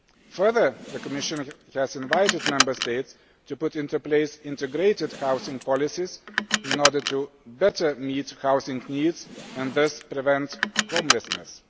Further, the Commission has invited Member States to put into place integrated housing policies in order to better meet housing needs and thus prevent homelessness.